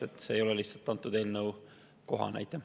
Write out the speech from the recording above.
See küsimus ei ole lihtsalt antud eelnõu kohta.